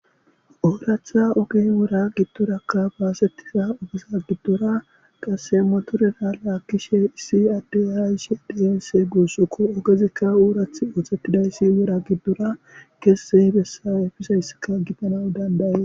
Ooratha oge wora giddorakka baasettiza ogeza giddora qasse motorera laakkishe issi adde aayishe dizense guussukko ogezikka oorath ooththettidayssi wora giddora kesse hibessa efisayssika gitanadanday.